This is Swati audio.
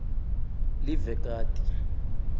livekati